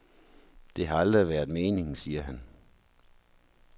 Det har aldrig været meningen, siger han.